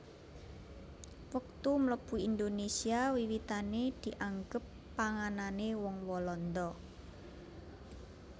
Wektu mlebu Indonesia wiwitané dianggep panganané wong Walanda